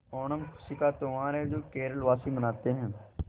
ओणम खुशी का त्यौहार है जो केरल वासी मनाते हैं